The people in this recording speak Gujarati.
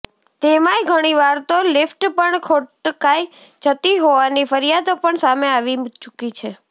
તેમાંય ઘણીવાર તો લિફ્ટ પણ ખોટકાઈ જતી હોવાની ફરિયાદો પણ સામે આવી ચૂકી છે